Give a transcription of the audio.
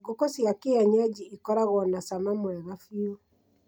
Ngũkũ cia kĩenyeji ikoragwo na cama mwega biu